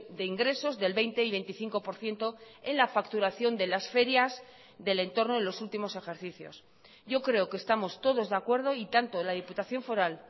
de ingresos del veinte y veinticinco por ciento en la facturación de las ferias del entorno en los últimos ejercicios yo creo que estamos todos de acuerdo y tanto la diputación foral